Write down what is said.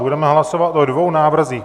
Budeme hlasovat o dvou návrzích.